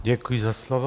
Děkuji za slovo.